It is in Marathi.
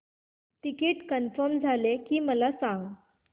तिकीट कन्फर्म झाले की मला सांग